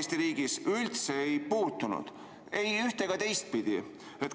Eesti riigis, üldse ei puudutanud, ei ühte- ega teistpidi?